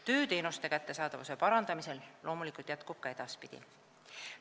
Töö teenuste kättesaadavuse parandamisel jätkub loomulikult ka edaspidi.